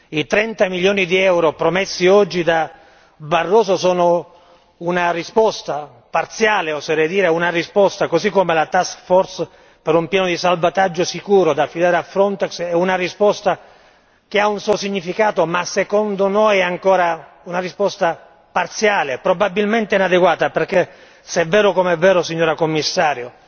I 30 milioni di euro promessi oggi da Barroso sono una risposta parziale oserei dire così come la task force per un piano di salvataggio sicuro da affidare a Frontex è una risposta che ha un suo significato, ma secondo noi è ancora una risposta parziale, probabilmente inadeguata. Se è vero come è vero, signora Commissario,